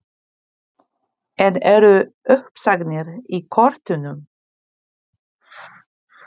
En eru uppsagnir í kortunum?